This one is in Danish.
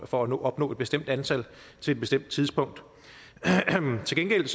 for at opnå et bestemt antal til et bestemt tidspunkt til gengæld